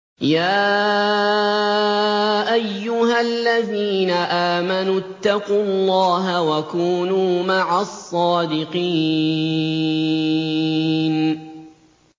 يَا أَيُّهَا الَّذِينَ آمَنُوا اتَّقُوا اللَّهَ وَكُونُوا مَعَ الصَّادِقِينَ